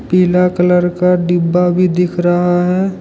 पीला कलर का डिब्बा भी दिख रहा है।